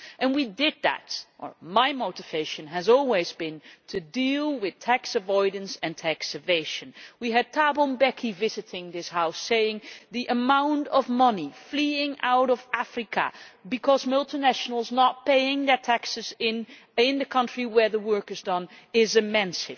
We acted on that and my motivation has always been to deal with tax avoidance and tax evasion. We had Thabo Mbeki visiting this House and he said that the amount of money fleeing out of Africa because multinationals are not paying their taxes in the country where the work is done is immense.